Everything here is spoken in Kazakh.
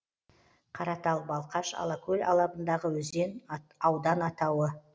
қаратал балқаш алакөл алабындағы өзен аудан атауы